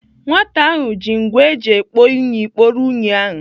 Nwata ahụ ji ngwa eji ekpo unyi kporo unyi ahụ.